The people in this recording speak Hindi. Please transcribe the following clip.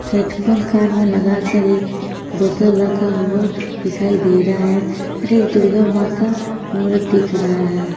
हैडफोन कान में लगा कर एक बोतल रखा हुआ दिखाई दे रहा है और एक दुर्गा माँ का मूरत दिख रहा है।